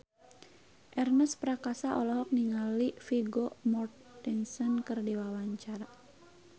Ernest Prakasa olohok ningali Vigo Mortensen keur diwawancara